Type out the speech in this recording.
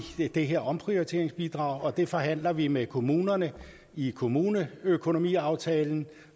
har det her omprioriteringsbidrag og det forhandler vi med kommunerne i kommuneøkonomiaftalen